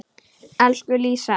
Elsku Lísa.